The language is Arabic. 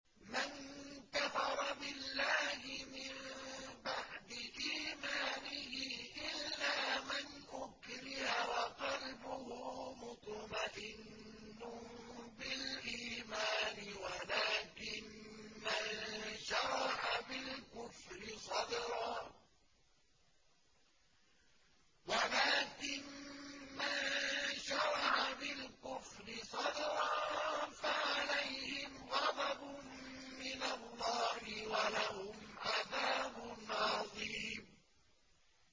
مَن كَفَرَ بِاللَّهِ مِن بَعْدِ إِيمَانِهِ إِلَّا مَنْ أُكْرِهَ وَقَلْبُهُ مُطْمَئِنٌّ بِالْإِيمَانِ وَلَٰكِن مَّن شَرَحَ بِالْكُفْرِ صَدْرًا فَعَلَيْهِمْ غَضَبٌ مِّنَ اللَّهِ وَلَهُمْ عَذَابٌ عَظِيمٌ